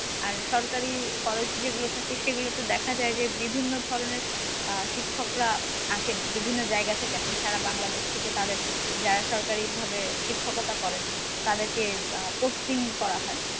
আর সরকারি college যেগুলা থাকে সেগুলা তে দেখা যায় যে বিভিন্ন ধরনের আহ শিক্ষকরা আসেন বিভিন্ন জায়গা থেকে আসেন সারা বাংলাদেশ থেকে তাদের যারা সরকারিভাবে শিক্ষকতা করেন তাদেরকে posting করা হয়